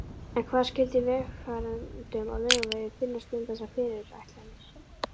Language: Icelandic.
En hvað skyldi vegfarendum á Laugavegi finnast um þessar fyrirætlanir?